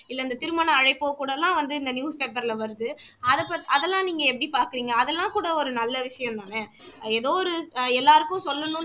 இல்லை இந்த திருமண அழைப்போ கூட எல்லாம் வந்து இந்த newspaper ல வருது அத பத்தி அதெல்லாம் நீங்க எப்படி பார்க்குறீங்க அதெல்லாம் கூட ஒரு நல்ல விஷயம் தான எதோ ஒரு எல்லாருக்கும் சொல்லணுன்னு